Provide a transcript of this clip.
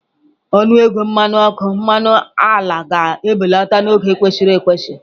Ọnụ ego mmanụ ọkụ, mmanụ ala ga-ebelata n'oge kwesịrị ekwesị